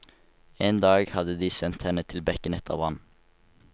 En dag hadde de sendt henne til bekken etter vann.